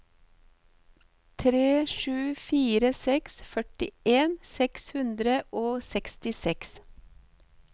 tre sju fire seks førtien seks hundre og sekstiseks